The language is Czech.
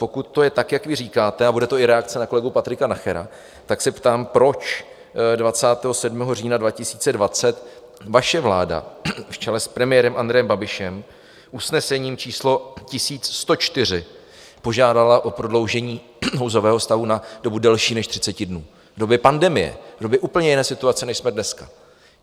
Pokud to je tak, jak vy říkáte, a bude to i reakce na kolegu Patrika Nachera, tak se ptám, proč 27. října 2020 vaše vláda v čele s premiérem Andrejem Babišem usnesením číslo 1104 požádala o prodloužení nouzového stavu na dobu delší než 30 dnů v době pandemie, v době úplně jiné situace, než jsme dneska?